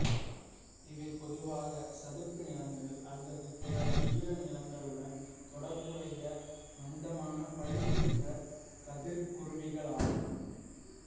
இவை பொதுவாக சதுப்புநிலங்கள் அல்லது பிற ஈரநிலங்களுடன் தொடர்புடைய மந்தமான பழுப்பு நிற கதிர்குருவிகளாகும்